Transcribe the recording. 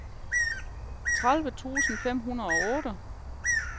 tredive tusind fem hundrede og otte